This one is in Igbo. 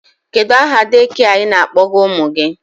Kedu aha dekịa ị na-akpọga ụmụ gị?